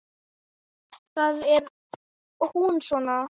Þar er hún svona